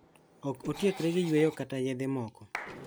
Ok otiekre gi yweyo kata yedhe moko.